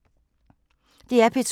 DR P2